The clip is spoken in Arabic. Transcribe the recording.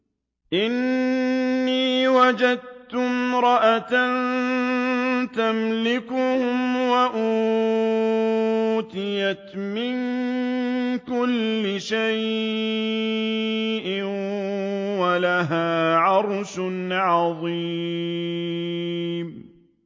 إِنِّي وَجَدتُّ امْرَأَةً تَمْلِكُهُمْ وَأُوتِيَتْ مِن كُلِّ شَيْءٍ وَلَهَا عَرْشٌ عَظِيمٌ